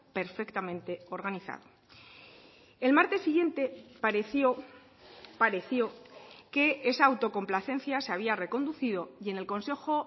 perfectamente organizado el martes siguiente pareció pareció que esa autocomplacencia se había reconducido y en el consejo